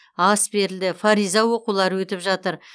ас берілді фариза оқулары өтіп жатыр